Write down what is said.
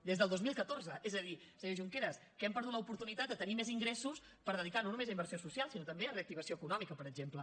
des del dos mil catorze és a dir senyor junqueras que hem perdut l’oportunitat de tenir més ingressos per dedicar no només a inversió social sinó també a reactivació econòmica per exemple